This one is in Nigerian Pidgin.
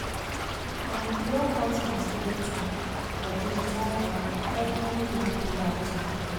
i dey block out my study time for digital calender every weekday afternoon.